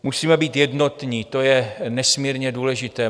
Musíme být jednotní, to je nesmírně důležité.